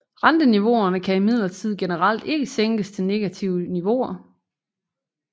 Renteniveauerne kan imidlertid generelt ikke sænkes til negative niveauer